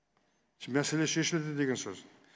мәселе шешілді деген сөз